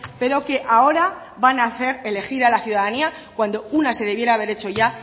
pero que ahora van a hacer elegir a la ciudadanía cuando una de debiera haber hecho ya